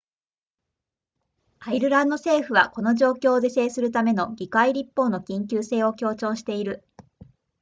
アイルランド政府はこの状況を是正するための議会立法の緊急性を強調している